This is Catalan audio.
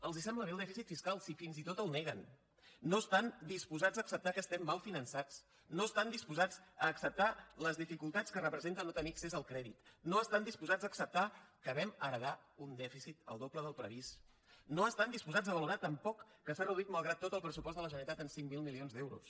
els sembla bé el dèficit fiscal si fins i tot el neguen no estan disposats a acceptar que estem mal finançats no estan disposats a acceptar les dificultats que representa no tenir accés al crèdit no estan disposats a acceptar que vam heretar un dèficit el doble del previst no estan disposats a valorar tampoc que s’ha reduït malgrat tot el pressupost de la generalitat en cinc mil milions d’euros